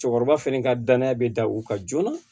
Cɛkɔrɔba fɛnɛ ka danaya be da u kan joona